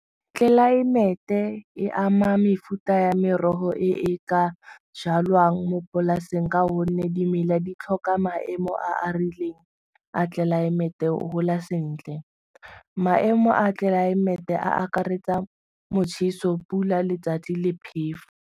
Tlelaemete e ama mefuta ya merogo e e ka jalwang mo polaseng ka gonne dimela di tlhoka maemo a a rileng a tlelaemete go gola sentle. Maemo a tlelaemete a akaretsa motšheso, pula, letsatsi le phefo.